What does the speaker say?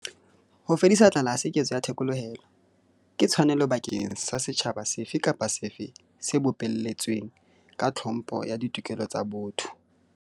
Ho fedisa tlala ha se ketso ya thekolohelo. Ke tshwanelo bakeng sa setjhaba sefe kapa sefe se bopelletsweng ka tlhompho ya ditokelo tsa botho.